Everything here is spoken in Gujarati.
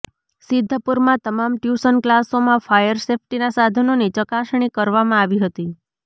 સિદ્ધપુરમાં તમામ ટ્યુશન ક્લાસોંમાં ફાયર સેફ્ટીના સાધનોની ચકાસણી કરવામાં આવી હતી